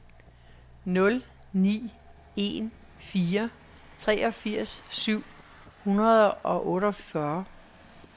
nul ni en fire treogfirs syv hundrede og otteogfyrre